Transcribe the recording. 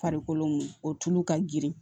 Farikolo o tulu ka girin